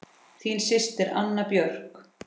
Þín systir, Anna Björk.